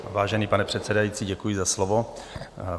Vážený pane předsedající, děkuji za slovo.